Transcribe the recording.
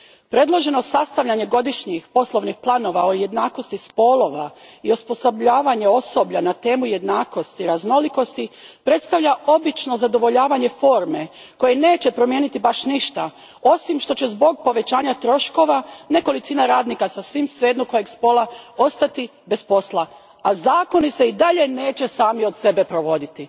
Predloženo sastavljanje godišnjih poslovnih planova o jednakosti spolova i osposobljavanje osoblja na temu jednakosti i raznolikosti predstavlja obično zadovoljavanje forme koje neće promijeniti baš ništa, osim što će zbog povećanja troškova nekolicina radnika sasvim svejedno kojeg spola, ostati bez posla, a zakoni se i dalje neće sami od sebe provoditi.